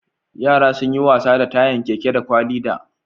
Yara sun yi wasa da tayan keke da kwali da